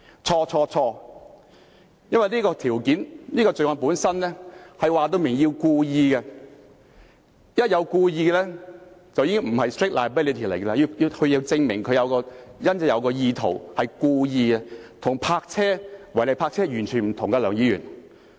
錯、錯、錯，因為這項罪行本身清楚表明必須是故意的，一旦是故意的便已經不是 strict liability， 而是要證明他有意圖和是故意的，這跟違例泊車完全不同，梁議員。